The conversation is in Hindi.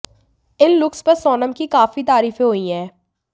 इन लुक्स पर सोनम की काफी तारीफें हुई हैं